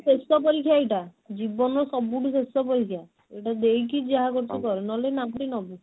ଶେଷ ପରୀକ୍ଷା ଏଇଟା ଜୀବନ ର ସବୁଠୁ ଶେଷ ପରୀକ୍ଷା ଏଇଟା ଦେଇକି ଯାହା କରୁଛୁ କର ନହେଲେ ନାମ ଟି ନବୁ